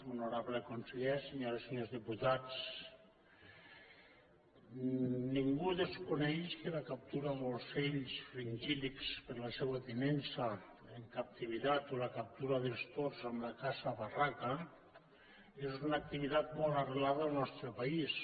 honorable conseller senyores i senyors diputats ningú desconeix que la captura d’ocells fringíl·lids per a la seva tinença en captivitat o la captura dels tords amb la caça a barraca és una activitat molt arrelada en el nostre país